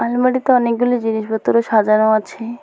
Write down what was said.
আলমারিতে অনেকগুলি জিনিস ভেতরে সাজানো আছে।